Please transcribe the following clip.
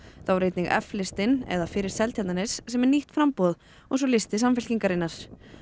þá er einnig f listinn eða fyrir Seltjarnarnes sem er nýtt framboð og svo listi Samfylkingarinnar